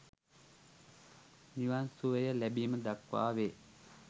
නිවන් සුවය ලැබීම දක්වා වේ.